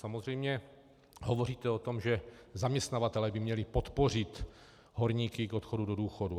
Samozřejmě hovoříte o tom, že zaměstnavatelé by měli podpořit horníky k odchodu do důchodu.